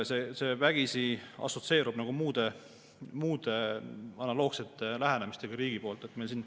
See vägisi assotsieerub muude analoogsete lähenemistega riigi poolt.